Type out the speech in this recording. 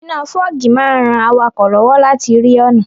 Iná fọ́ọ̀gì máa n ran awakọ̀ lọ́wọ́ láti rí ọ̀nà